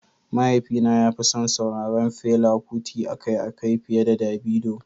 Mahaifina ya fi son sauraron Fela Kuti akai-akai fiye da Davido.